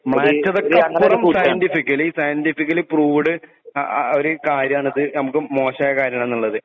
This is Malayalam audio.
സൈന്റിഫിക്കാലി പ്രൂവ്ഡ് ആ ഒരു കാര്യനാണ് നമുക്ക് മോശമായ കാര്യമാണന്നത് .